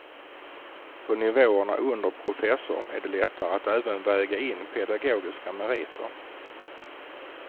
På nivåerna under professor är det lättare att även väga in pedagogiska meriter.